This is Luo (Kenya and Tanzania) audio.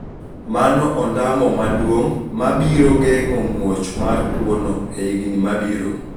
Mano ondamo maduong` ma biro geng`o muoch mar tuo no e higni mabiro